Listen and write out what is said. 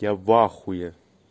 я в ахуе